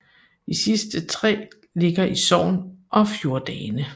De sidste tre ligger i Sogn og Fjordane